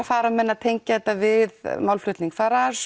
fara menn að tengja þetta við málflutning Farrars